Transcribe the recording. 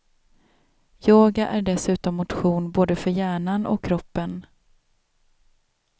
Yoga är dessutom motion både för hjärnan och kroppen.